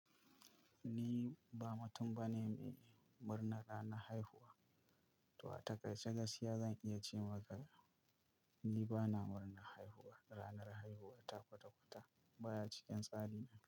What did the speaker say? Ni ba mutum bane mai murna ranar haihuwa. To a takaice gaskiya zan iya cewa ga ni bana murnar haihuwa. Ranar haihuwa ta kwata-kwata baya cikin tsari na.